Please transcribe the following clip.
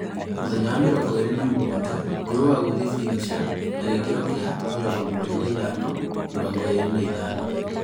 Mũthenya wa mĩrongo ĩlĩ na mũgwanja, grower gũthie finisher na gĩkilo kia 75:25.